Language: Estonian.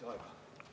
Palun lisaaega!